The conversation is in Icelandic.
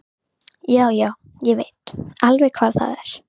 Já, já, ég veit alveg hvar það er.